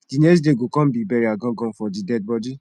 di next day go kon be burial gan gan for di deadbodi